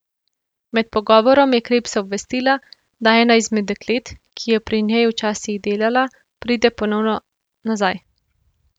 Med pogovorom je Krebsa obvestila, da ena izmed deklet, ki je pri njej včasih delala, pride ponovno nazaj.